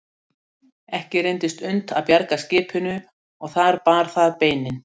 Ekki reyndist unnt að bjarga skipinu og þar bar það beinin.